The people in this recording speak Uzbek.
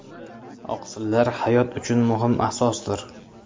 Oqsillar hayot uchun muhim asosdir.